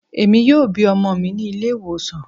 Emi yoo bi ọmọ mi ni ile-iwosan